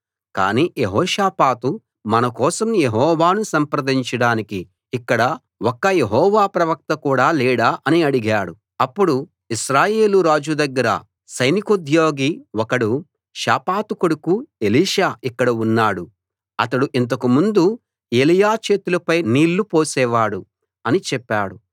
కానీ యెహోషాపాతు మన కోసం యెహోవాను సంప్రదించడానికి ఇక్కడ ఒక్క యెహోవా ప్రవక్త కూడా లేడా అని అడిగాడు అప్పుడు ఇశ్రాయేలు రాజు దగ్గర సైనికోద్యోగి ఒకడు షాపాతు కొడుకు ఎలీషా ఇక్కడ ఉన్నాడు అతడు ఇంతకు ముందు ఎలీయా చేతులపై నీళ్ళు పోసే వాడు అని చెప్పాడు